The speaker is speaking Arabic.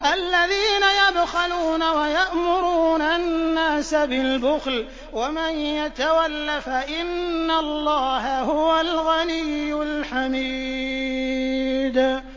الَّذِينَ يَبْخَلُونَ وَيَأْمُرُونَ النَّاسَ بِالْبُخْلِ ۗ وَمَن يَتَوَلَّ فَإِنَّ اللَّهَ هُوَ الْغَنِيُّ الْحَمِيدُ